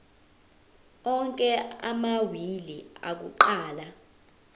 onke amawili akuqala